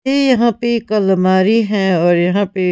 ये यहां पे एक अलमारी है और यहां पे --